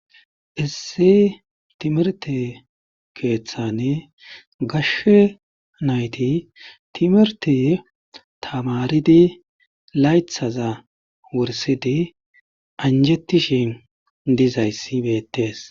Issi timerte keeththane gashshe nayti timerte tamaridi laythaza wursidi anjettishin dizayssi beettees